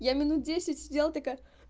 я минут десять сидела такая